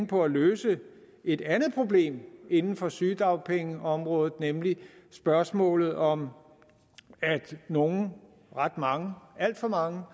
på at løse et andet problem inden for sygedagpengeområdet nemlig spørgsmålet om at nogle ret mange alt for mange